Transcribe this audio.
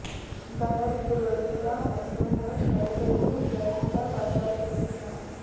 గత రెండు రోజులుగా అసోంలో ఎడతెరిపి లేకుండా వర్షాలు కురుస్తున్నాయి